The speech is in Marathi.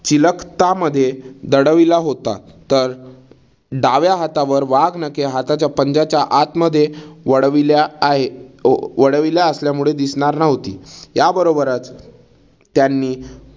चिलखता मध्ये दडविला होता. तर डाव्या हातावर वाघनखे हाताच्या पंज्याच्या आतमध्ये वळविल्या आहे अह वळविल्या असल्यामुळे दिसणार नव्हती. याबरोबरच त्यांनी